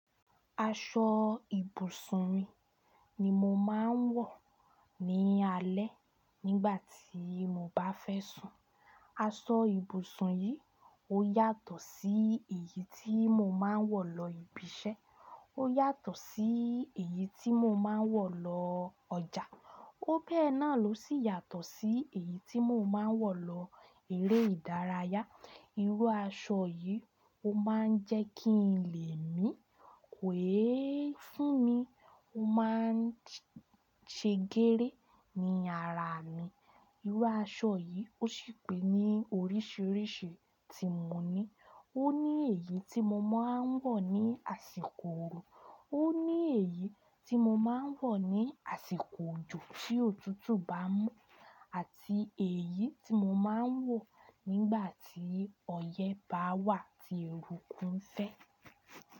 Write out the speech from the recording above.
Aṣọ ibùsùn mi ni mo máa ń wọ̀ ní alẹ́ nígbà tí mo bá fẹ́ sùn. Aṣọ ibùsùn yìí ó yàtọ̀ sí èyí tí mo máa ń wọ̀ lọ ibi iṣẹ́, ó yàtọ̀ sí èyí tí mo máa ń wọ̀ lọ ọjà, ó bẹ́ẹ̀ náà ló sì yàtọ̀ sí èyí tí mo máa ń wọ̀ lọ eré ìdárayá. Irú aṣọ yìí ó máa ń jẹ́ kí n lé mi kò é fún mi, ó máa ń ṣe gééré ní ara mi. Irú aṣọ yìí ó sì pè ní oríṣiríṣi tí mo ní. Ó ní èyí tí mo máa ń wọ̀ ní àsìkò ooru, ó ní èyí tí mo máa ń wọ̀ ní àsìkò òjò tí òtútù bá mú àti èyí tí mo máa ń wọ̀ nígbà tí ọyẹ́ bá wà tí eruku ń fẹ́.